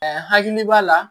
hakili b'a la